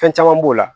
Fɛn caman b'o la